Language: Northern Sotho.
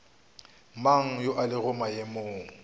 mang yo a lego maemong